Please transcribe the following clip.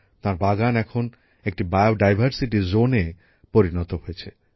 তাঁর বাগান এখন একটি জীববৈচিত্র অঞ্চলে পরিণত হয়েছে